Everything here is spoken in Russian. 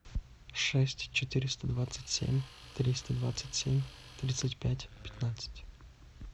шесть четыреста двадцать семь триста двадцать семь тридцать пять пятнадцать